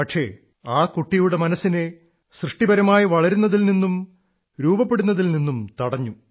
പക്ഷേ ആ കുട്ടിയുടെ സൃഷ്ടിപരമായ മനസ്സിനെ വളരുന്നതിൽ നിന്നും രൂപപ്പെടുന്നതിൽ നിന്നും തടഞ്ഞു